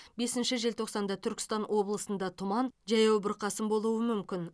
бесінші желтоқсанда түркістан облысында тұман жаяу бұрқасын болуы мүмкін